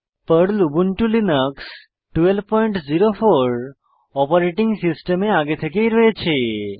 Perl Ubuntu Linux 1204 operating সিস্টেমে আগে থেকেই রয়েছে